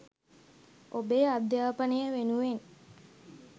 ඔබේ අධ්‍යාපනය වෙනුවෙන්